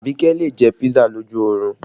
Abike lè jẹ́ pisa lójú orun